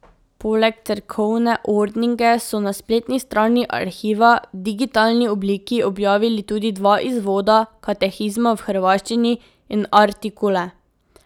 Poleg Cerkovne ordninge so na spletni strani arhiva v digitalni obliki objavili tudi dva izvoda Katekizma v hrvaščini in Artikule.